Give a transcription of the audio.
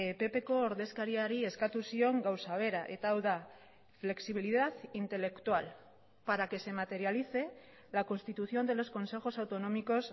ppko ordezkariari eskatu zion gauza bera eta hau da flexibilidad intelectual para que se materialice la constitución de los consejos autonómicos